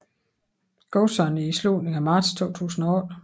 Ghoson i slutningen af marts 2008